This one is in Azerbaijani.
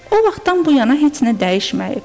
O vaxtdan bu yana heç nə dəyişməyib.